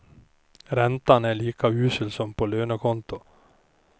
Räntan är lika usel som på lönekontot.